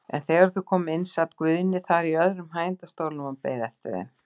En þegar þau komu inn sat Guðni þar í öðrum hægindastólnum og beið eftir þeim.